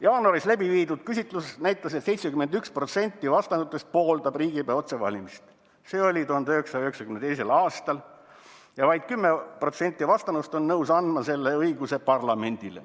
"Jaanuaris läbiviidud küsitlus näitab, et 71% vastanutest pooldab riigipea otsevalimist" "ja vaid 10% vastanuist on nõus andma selle õiguse parlamendile.